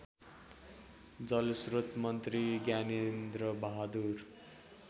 जलस्रोत मन्त्री ज्ञानेन्द्रबहादुर